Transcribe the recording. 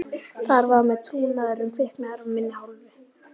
Þar með var trúnaðurinn kviknaður af minni hálfu.